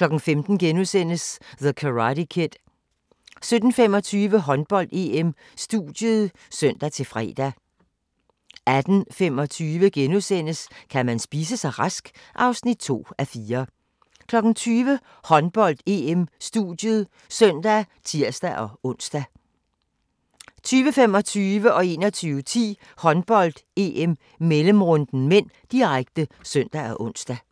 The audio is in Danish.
15:00: The Karate Kid * 17:25: Håndbold: EM - studiet (søn-fre) 18:25: Kan man spise sig rask? (2:4)* 20:00: Håndbold: EM - studiet (søn og tir-ons) 20:25: Håndbold: EM - mellemrunden (m), direkte (søn og ons) 21:10: Håndbold: EM - mellemrunden (m), direkte (søn og ons)